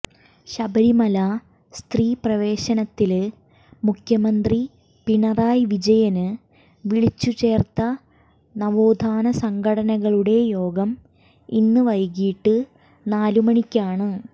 ശബരിമല സ്ത്രീ പ്രവേശനത്തില് മുഖ്യമന്ത്രി പിണറായി വിജയന് വിളിച്ചുചേര്ത്ത നവോത്ഥാന സംഘടനകളുടെ യോഗം ഇന്ന് വൈകീട്ട് നാലുമണിക്കാണ്